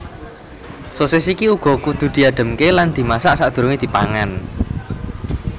Sosis iki uga kudu diadhemke lan dimasak sakdurunge dipangan